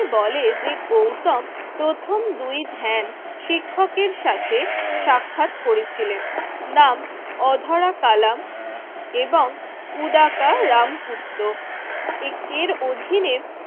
বলে যে গৌতম প্রথম দুই ধ্যান শিক্ষকের সাথে সাক্ষাৎ করেছিলেন। নাম অধরা কালাম এবং উদারকা রামপুত্র এক এর অধীনে